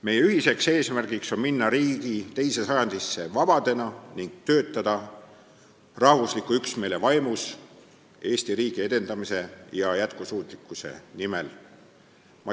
"Meie ühine eesmärk on minna oma riigi teise sajandisse vabadena ning töötada rahvusliku üksmeele vaimus Eesti riigi edenemise ja jätkusuutlikkuse nimel.